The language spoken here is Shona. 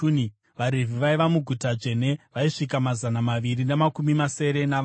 VaRevhi vaiva muguta dzvene vaisvika mazana maviri namakumi masere navana.